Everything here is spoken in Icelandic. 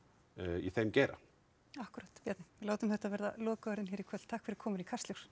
í þeim geira akkúrat Bjarni látum þetta verða lokaorðin hér í kvöld takk fyrir komuna í Kastljós